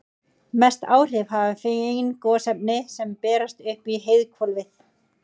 Mest áhrif hafa fín gosefni sem berast upp í heiðhvolfið.